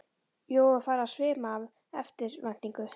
Jóru var farið að svima af eftirvæntingu.